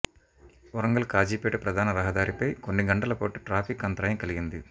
వరంగల్ కాజీపేట ప్రధాన రహదారిపై కొన్ని గంటల పాటు ట్రాఫిక్ అంతరాయం కలిగింది